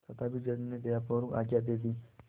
तथापि जज ने दयापूर्वक आज्ञा दे दी